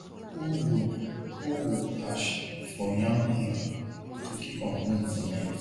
pour wood pour wood ash for yam hill to keep am warm for night